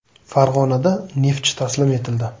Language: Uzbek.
Farg‘onada “Neftchi” taslim etildi.